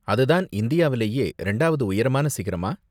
அதுதான் இந்தியாவுலேயே ரெண்டாவது உயரமான சிகரமா?